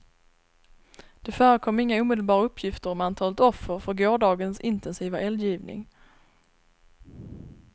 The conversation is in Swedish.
Det förekom inga omedelbara uppgifter om antalet offer för gårdagens intensiva eldgivning.